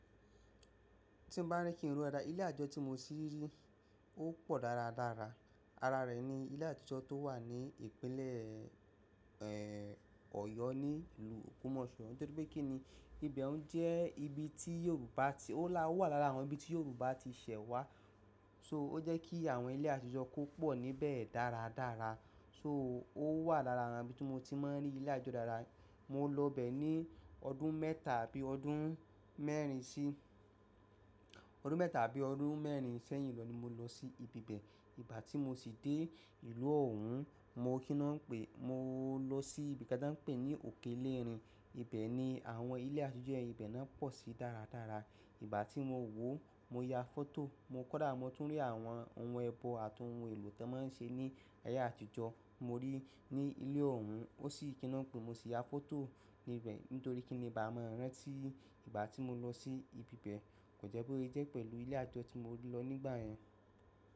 Tí n bá rí kí n rí ara ilé àjọ tí mo ti rí, ó pọ̀ dára dára. Ara rẹ̀ ni ilé àtijọ́ tó wà ní ìpínlẹ̀, ẹ, Ọ̀yọ́ ní ìlú Òkumọ́ṣọ́, nítorí pé kí ni ìbẹ̀ òun jẹ́ ibi tí Yorùbá ti-- ó wà lára àwọn ibi tí Yorùbá ti ṣẹ̀ wá. So ó jẹ́ kí àwọn ilé àtijọ́ kó pọ̀ níbẹ̀ dára dára. So ó wà lára àwọn ibi tí mo ti máa ń rí ilé àjọ dára. Mo lọ bẹ̀ ní ọdún mẹ́ta àbí ọdún mẹ́rin sí-- ọdún mẹ́ta àbí ọdún mẹ́rin sẹ́yìn lọ ni mo lọ sí ibi bẹ̀. Ìgbà tí mo ti dé ìlú ọ̀un, mo kí ná pè-- mo lọ sí ibi kan táń pè ní òkèlérin. Ibẹ̀ ni àwọn ilé àtijọ́ ibẹ̀ ná pọ̀ sí dára dára. Ìgbà tí mo wò ó, mo ya foto. Mo kódà mo tún rí àwọn ohun ẹbọ àtohun èlò tí wọ́n máa ń ṣe ní ayé àtijọ́. Mo rí ní ilé òun, ó sì kí ná pè mo sì ya foto níbẹ̀, nítorí kí ni bá máa rán tí ìgbà tí mo lọ sí ibi bẹ̀ kò jẹ́ pé ó jẹ́ pẹ̀lú ilé àjọ tí mo lọ nígbà yẹn.